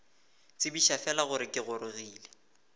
tsebiša fela gore ke gorogile